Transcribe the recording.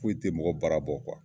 Foyi tɛ mɔgɔ bara bɔ